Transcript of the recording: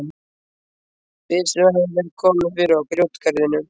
Byssum hafði verið komið fyrir á grjótgarðinum.